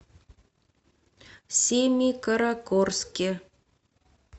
семикаракорске